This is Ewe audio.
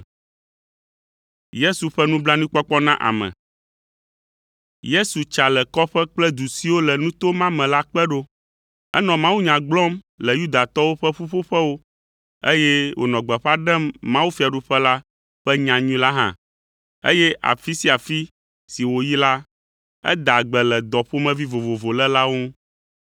Yesu tsa le kɔƒe kple du siwo le nuto ma me la kpe ɖo. Enɔ mawunya gblɔm le Yudatɔwo ƒe ƒuƒoƒewo, eye wònɔ gbeƒã ɖem mawufiaɖuƒe la ƒe nyanyui la hã, eye afi sia afi si wòyi la, edaa gbe le dɔ ƒomevi vovovo lélawo ŋu.